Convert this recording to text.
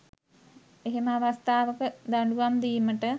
එහෙම අවස්ථාවක දඩුවම් දීමට